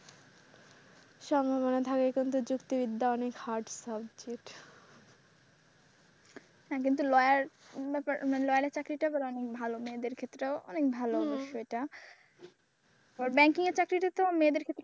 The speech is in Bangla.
সংবিধানের ধারে এখন তো যুক্তিবিদ্যা অনেক hard subject হ্যাঁ কিন্তু lawyer এর চাকরিটা অনেক ভালো মেয়েদের ক্ষেত্রেও অনেক ভালো অবশ্যই এটা banking চাকরিটা তো মেয়েদের ক্ষেত্রে।